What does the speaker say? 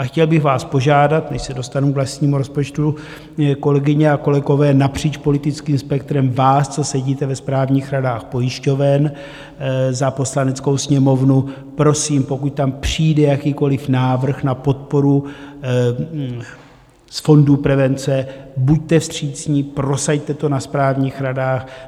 A chtěl bych vás požádat, než se dostanu k vlastnímu rozpočtu, kolegyně a kolegové napříč politickým spektrem, vás, co sedíte ve správních radách pojišťoven za Poslaneckou sněmovnu, prosím, pokud tam přijde jakýkoliv návrh na podporu z fondu prevence, buďte vstřícní, prosaďte to na správních radách.